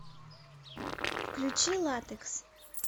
включи латекс